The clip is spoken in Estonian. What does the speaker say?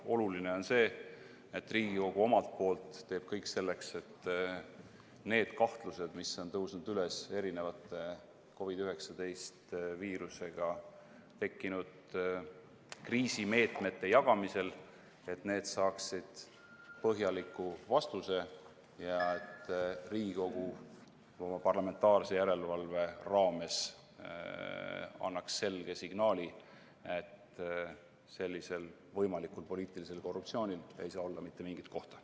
Oluline on see, et Riigikogu omalt poolt teeks kõik selleks, et need kahtlused, mis on tõusnud üles COVID-19 haigust põhjustava viirusega tekkinud kriisimeetmete jagamisel, saaksid põhjaliku vastuse ja et Riigikogu oma parlamentaarse järelevalve raames annaks selge signaali, et sellisel võimalikul poliitilisel korruptsioonil ei saa olla mitte mingit kohta.